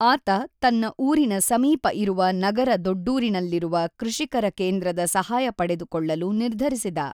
ಆತ ತನ್ನ ಊರಿನ ಸಮೀಪ ಇರುವ ನಗರ ದೊಡ್ಡೂರಿನಲ್ಲಿರುವ ಕೃಷಿಕರ ಕೇಂದ್ರದ ಸಹಾಯ ಪಡೆದುಕೊಳ್ಳಲು ನಿರ್ಧರಿಸಿದ.